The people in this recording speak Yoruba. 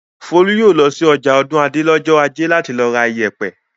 Folú yóò lọ sí ọjà Ọ̀dúnadé lọ́jọ́ ajé láti lọ ra ìyẹ̀pẹ̀!